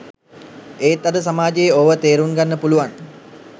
එත් අද සමාජයේ ඕව තෙරුන්ගන්න පුළුවන්